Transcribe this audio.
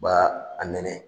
U b'a a nɛnɛ